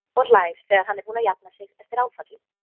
Og hlær þegar hann er búinn að jafna sig eftir áfallið.